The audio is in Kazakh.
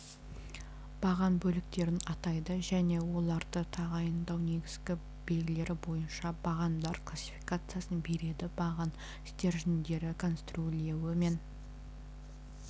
баған бөліктерін атайды және оларды тағайындау негізгі белгілері бойынша бағандар классификациясын береді баған стержендері конструирлеуі мен